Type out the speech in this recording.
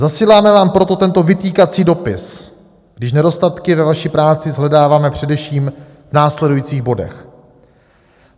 Zasíláme vám proto tento vytýkací dopis, když nedostatky ve vaší práci shledáváme především v následujících bodech: